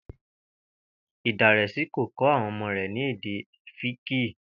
Ìdàrèsi kò kó̩ àwo̩n o̩mó rè̩ ní èdè É̩fíìkì